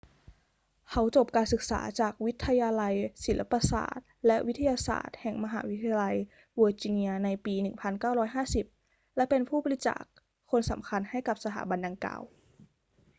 เขาจบการศึกษาจากวิทยาลับศิลปศาสตร์และวิทยาศาตร์แห่งมหาวิทยาลัยเวอร์จิเนียในปี 1950 และเป็นผู้บริจาคคนสำคัญให้กับสถาบันดังกล่าว